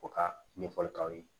O ka ɲɛfɔli k'aw ye